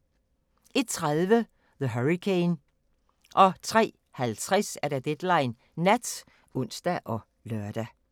01:30: The Hurricane 03:50: Deadline Nat (ons og lør)